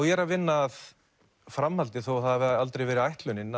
ég er að vinna að framhaldi þó það hafi aldrei verið ætlunin